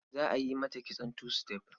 Za a yi mata kitson two step.